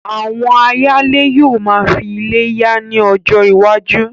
Àwọn ayálé yóò máa fí ilé yá ní ọjọ iwájú